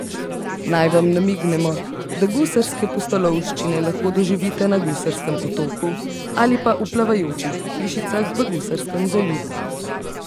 Naj vam namignemo, da gusarske pustolovščine lahko doživite na gusarskem otoku ali pa v plavajočih hišicah v Gusarskem zalivu.